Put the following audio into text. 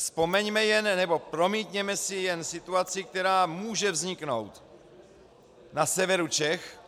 Vzpomeňme jen, nebo promítněme si jen situaci, která může vzniknout na severu Čech